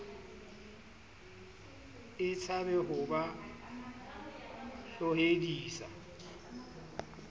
e tshabe ho ba tlohedisa